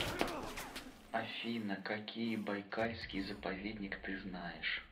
афина какие байкальский заповедник ты знаешь